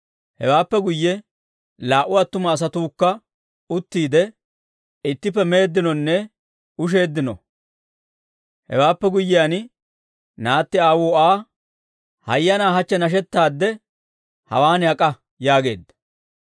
Hewaappe guyye laa"u attuma asatuukka uttiide, ittippe meeddinonne usheeddino. Hewaappe guyyiyaan naatti aawuu Aa, «Hayyanaa, hachche nashettaadde hawaan ak'a» yaageedda.